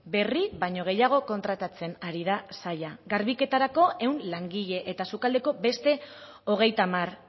berri baino gehiago kontratatzen ari da saila garbiketarako ehun langile eta sukaldeko beste hogeita hamar